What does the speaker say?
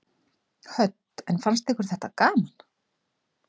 Hödd: En fannst ykkur þetta gaman?